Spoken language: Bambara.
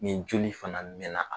Nin joli fana mɛn na.